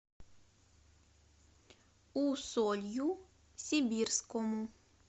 усолью сибирскому